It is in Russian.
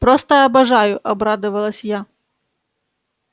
просто обожаю обрадовалась я